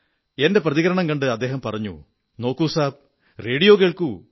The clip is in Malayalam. എന്റെ പ്രതികരണം കണ്ട് അദ്ദേഹം പറഞ്ഞു നോക്കൂ സാബ് റേഡിയോ കേൾക്കൂ